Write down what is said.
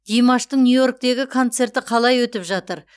димаштың нью йорктегі концерті қалай өтіп жатыр